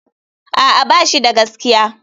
A'a, ba shi da gaskiya.